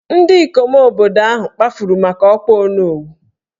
Ndị ikom obodo ahụ kpafuru maka ọkwà Onowu